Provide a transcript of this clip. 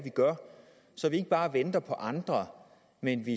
gør så vi ikke bare venter på andre men